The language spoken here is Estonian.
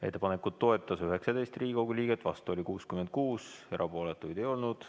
Ettepanekut toetas 19 Riigikogu liiget, vastu oli 66, erapooletuid ei olnud.